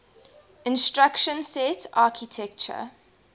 instruction set architecture